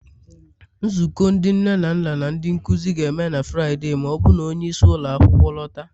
Nzukọ ndị nne na nna na ndị nkuzi ga-eme na Fraịde, ma ọ bụrụ na onye isi ụlọ akwụkwọ lọta